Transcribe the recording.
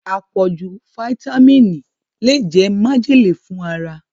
Apoju fáítámínì le jẹ majele fun ara